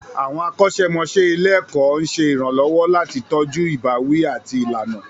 Àwọn akọ́ṣẹ́mọṣẹ́ ilé-ẹ̀kọ́ ń ṣe ìrànlọ́wọ́ láti tọ́jú ìbáwí àti ìlànà.